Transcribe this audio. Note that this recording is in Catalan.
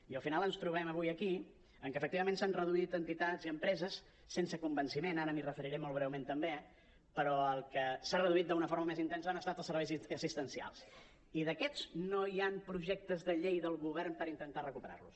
i al final ens trobem avui aquí que efectivament s’han reduït entitats i empreses sense convenciment ara m’hi referiré molt breument també però el que s’ha reduït d’una forma més intensa han estat els serveis assistencials i d’aquests no hi han projectes de llei del govern per intentar recuperar los